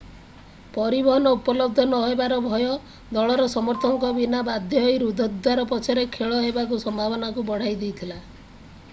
ପରିବହନ ଉପଲବ୍ଧ ନହେବାର ଭୟ ଦଳର ସମର୍ଥକଙ୍କ ବିନା ବାଧ୍ୟ ହୋଇ ରୁଦ୍ଧ ଦ୍ୱାର ପଛରେ ଖେଳ ହେବାର ସମ୍ଭାବନାକୁ ବଢାଇ ଦେଇଥିଲା